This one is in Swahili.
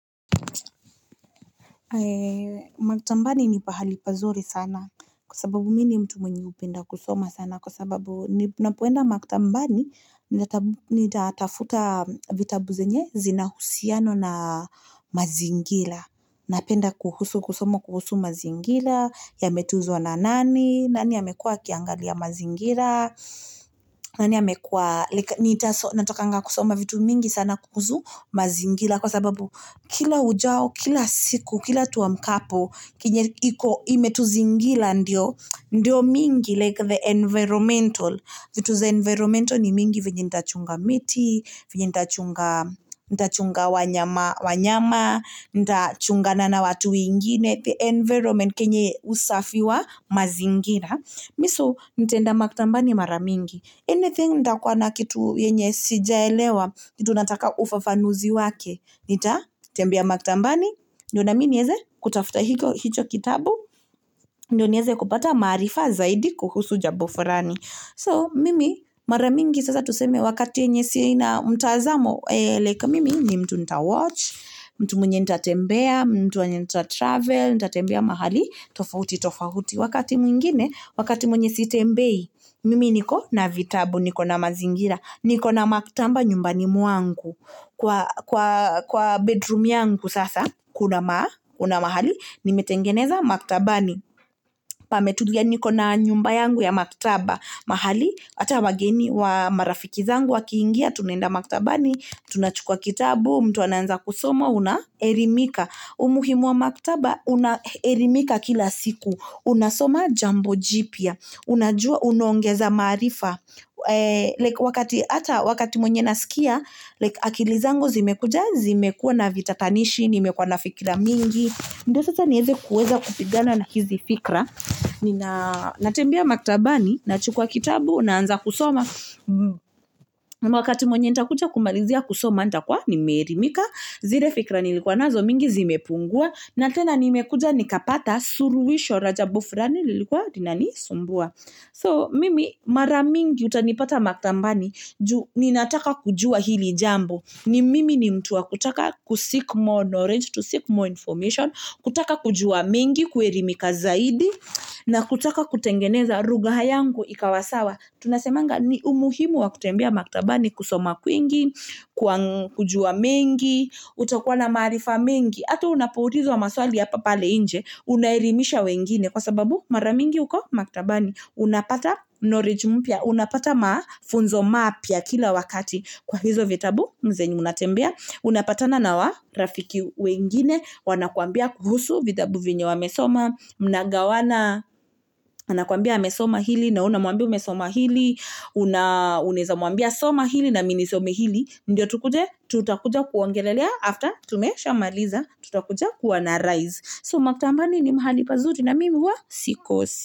Maktambani ni pahali pazuri sana kwa sababu mi ni mtu mwenye napenda kusoma sana kwa sababu Ninapoenda maktambani, nitatafuta vitabu zenye zinahusiano na mazingila Napenda kuhusu kusoma kuhusu mazingila, yametuzwa na nani, nani amekuwa akiangalia mazingira nani amekuwa, nitasoma natakanga kusoma vitu mingi sana kuhusu mazingila kwa sababu Kila ujao, kila siku, kila tuamkapo, kinye iko imetuzingila ndiyo mingi like the environmental vitu za environmental ni mingi venye ntachunga miti, venye nta chunga wanyama Ndachungana na watu wengine, the environment kenye usafi wa mazingila Miso nitaenda maktambani mara mingi, anything ndakua nakitu yenye sijaelewa, kitu nataka ufafanuzi wake Nitatembea maktambani, ndio nami nieze kutafta hicho kitabu, ndiyo nieze kupata maarifa zaidi kuhusu jabo furani So mimi, maramingi sasa tuseme wakati yenye sina mtazamo, like mimi ni mtu ntawatch mtu mwenye ntatembea, mtu mwenye ntatravel, ntatembea mahali tofahuti tofahuti wakati mwingine Wakati mwenye sitembei, mimi niko na vitabu, niko na mazingira, niko na maktamba nyumbani mwangu Kwa, kwa, kwa bedroom yangu sasa, kuna maa, kuna mahali, nimetengeneza maktabani pametulia niko na nyumba yangu ya maktaba mahali, ata wageni wa marafiki zangu wakiingia, tunaenda maktabani Tunachukuwa kitabu, mtu anaanza kusoma, unaerimika, umuhimu wa maktaba, unaerimika kila siku Una soma jambo jipya, unajua, unaongeza maarifa Wakati, ata wakati mwenye nasikia, like akili zangu zimekuja, zimekuwa na vitatanishi, nimekuwa na fikra mingi ndio sasa nieze kuweza kupigana na hizi fikra, nina natembea maktabani, nachukuwa kitabu, naanza kusoma wakati mwenye ntakuja kumalizia kusoma, ntakuwa, nimeerimika, zire fikra nilikuwa nazo mingi zime pungua na tena nimekuja, nikapata suruwisho ra jabo frani lilikuwa linanisumbua So mimi, mara mingi utanipata maktambani, ju ninataka kujua hili jambo ni mimi ni mtu wa kutaka kuseek more knowledge, to seek more information kutaka kujua mingi, kuerimika zaidi na kutaka kutengeneza rugha yangu ikawa sawa, tunasemanga ni umuhimu wa kutembea maktabani kusoma kwingi kujua mengi utakua na maarifa mingi, ata unapoulizwa maswali hapa pale inje, unaerimisha wengine Kwa sababu, mara mingi uko maktabani, unapata knowledge mupya, una pata maafunzo mapya kila wakati Kwa hizo vitabu, mzeni munatembea, unapatana nawa rafiki wengine, wanakuambia kuhusu vitabu vyenye wamesoma Mnagawana, wanakuambia amesoma hili, nawe unamuambia umesoma hili Una, unaezamuambia soma hili na mi ni some hili Ndio tukuje, tutakuja kuongelelea, after tumeshamaliza, tutakuja kuanarise So maktabani ni mahali pazuri na mimi huwa sikos.